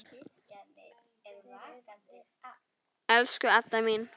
Elsku Adda mín.